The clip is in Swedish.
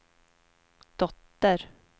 dotter